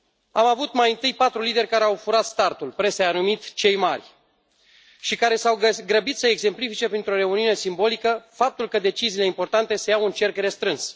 Am avut mai întâi patru lideri care au furat startul presa i a numit cei mari și care s au grăbit să exemplifice printr o reuniune simbolică faptul că deciziile importante să iau în cerc restrâns.